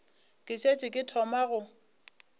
ke šetše ke thoma go